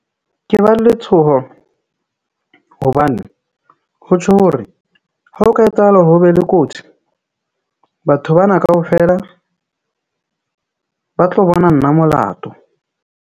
Ke ba letshoho hobane ho tjho hore ha o ka etsahala hore ho be le kotsi batho ba na kaofela ba tlo bona nna molato.